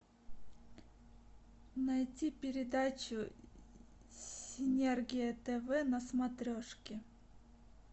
найти передачу синергия тв на смотрешке